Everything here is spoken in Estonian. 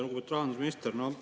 Lugupeetud rahandusminister!